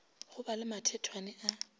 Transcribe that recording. go ba le mathethwane a